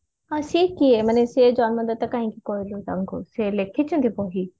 ସେ କିଏ ମାନେ ସେ ଜନ୍ମ ଦାତା କହିକି କହିଲୁ ତାଙ୍କୁ ସେ ଲେଖିଛନ୍ତି ବହି